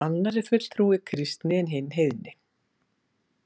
Annar er fulltrúi kristni en hinn heiðni.